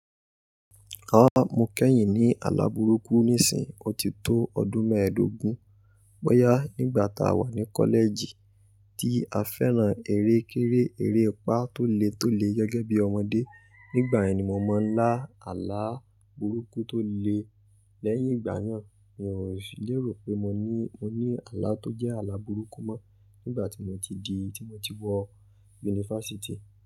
Rárá, mo kẹ́yìn ní àlà burúkú níìsín, ó ti tó ọdún mẹ́ẹ̀dógún. Bọ́yá nígbà tá a wà ní kọ́lẹ̀ẹ̀jì tí a fẹ́ràn eré kéré, ereepa tó le tó le gẹ́gẹ́ biiọmọdé. Nígbà yẹn ni mo mọ ńlá àlà burúkú tó le. Lẹ́yìn ìgbà naa hun ò lè rò pé mo ní àlà tó jẹ́ àlà burúkú mọ́. Nígbà tí mo ti di, tí mo ti wọ yunifásítì.